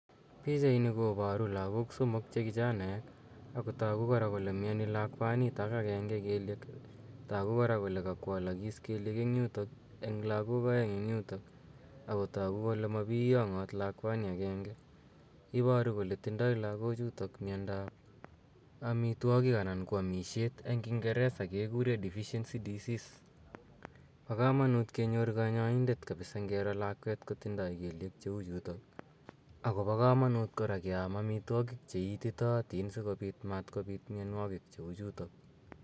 Pichaini koparu lagook somok che kichanaek ako tagu kora kole miani lakwanitok kelieek. Tagu kora kole kakwalakis keliek eng' yutok eng' lagook aeng' eng' yutok ago tagu kole mapiyang'aat lakwani agenge. Iparu kole tindai lagochutok miandap amitwogiik anan ko amishet eng' kingeresa kekure deficiency disease. Pa kamanuut kenyor kanyaindet kapsa ngiro lakweet kotindai keliek chu chutok. Ako pa kamanuut kora ke am amitwogiik che ititaatin sikopit matkopiit mianwogiik che u chutok.